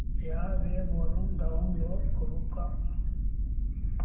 या वेब वरुन डाऊनलोड करू का